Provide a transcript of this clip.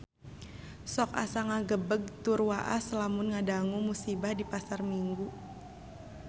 Sok asa ngagebeg tur waas lamun ngadangu musibah di Pasar Minggu